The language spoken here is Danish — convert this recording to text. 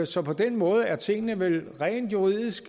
så på den måde er tingene vel rent juridisk